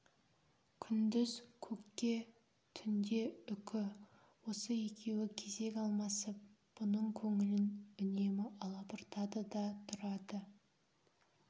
күндіз көкке түнде үкі осы екеуі кезек алмасып бұның көңілін үнемі алабұртады да тұрады